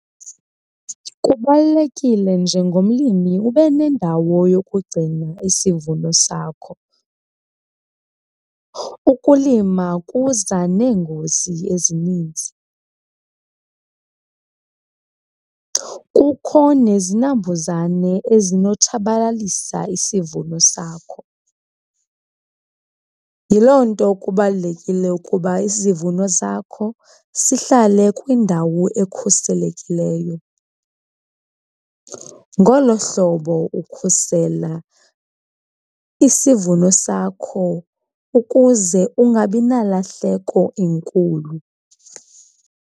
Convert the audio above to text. Kubalulekile njengomlimi ube nendawo yokugcina isivuno sakho. Ukulima kuza neengozi ezininzi, kukho nezinambuzane ezinotshabalalisa isivuno sakho, yiloo nto kubalulekile ukuba isivuno sakho sihlale kwindawo ekhuselekileyo. Ngolo hlobo ukhusela isivuno sakho ukuze ungabi nalahleko enkulu.